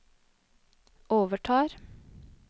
overtar